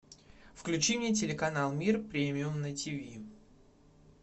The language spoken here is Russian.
включи мне телеканал мир премиум на тиви